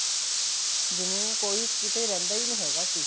ਜਿਵੇਂ ਕੋਈ ਕਿੱਥੇ ਰਹਿੰਦਾ ਹੀ ਨਹੀਂ ਹੈਗਾ ਸੀ